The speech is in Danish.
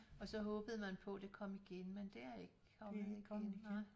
Og så håbede man på det kom igen men det er ikke kommet igen